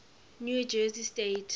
new jersey state